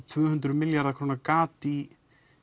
tvö hundruð milljarða króna gat í